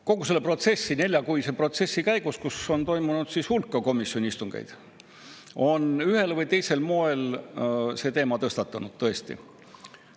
Kogu selle neljakuise protsessi käigus, kui on toimunud hulk komisjoni istungeid, on ühel või teisel moel see teema tõstatunud, tõesti.